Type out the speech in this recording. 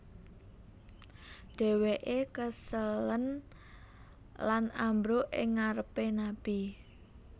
Dheweke keselen lan ambruk ing ngarepe Nabi